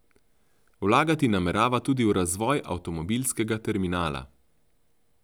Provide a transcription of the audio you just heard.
Vlagati namerava tudi v razvoj avtomobilskega terminala.